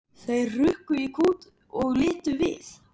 Þeir hrukku í kút og litu við.